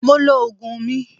Mo lo oògùn mi